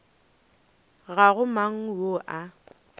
ga go mang yo a